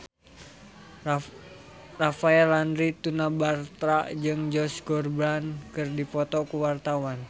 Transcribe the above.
Rafael Landry Tanubrata jeung Josh Groban keur dipoto ku wartawan